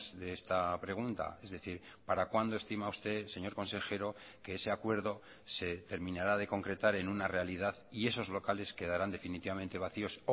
de esta pregunta es decir para cuándo estima usted señor consejero que ese acuerdo se terminará de concretar en una realidad y esos locales quedarán definitivamente vacíos